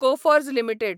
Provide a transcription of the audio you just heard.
Coforge limited